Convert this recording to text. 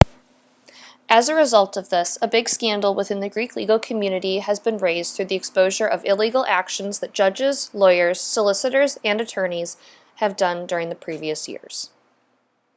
as a result of this a big scandal within the greek legal community has been raised through the exposure of illegal actions that judges lawyers solicitors and attorneys have done during the previous years